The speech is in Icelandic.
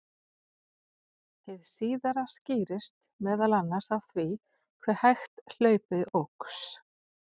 hið síðara skýrist meðal annars af því hve hægt hlaupið óx